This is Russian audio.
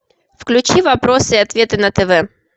включи вопросы и ответы на тв